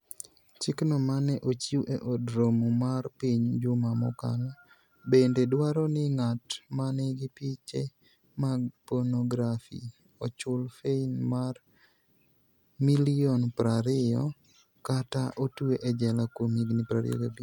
Chikno ma ne ochiw e Od Romo mar Piny juma mokalo, bende dwaro ni ng'at ma nigi piche mag ponografi, ochul fain mar Sh20 million kata otwe e jela kuom higini 25.